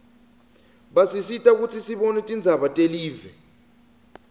basisita kutsi sibone tindzaba telive